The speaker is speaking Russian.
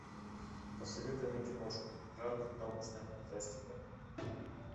посоветуй мне киношку жанр научная фантастика